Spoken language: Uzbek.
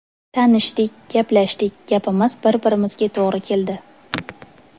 Tanishdik, gaplashdik, gapimiz bir-birimizga to‘g‘ri keldi.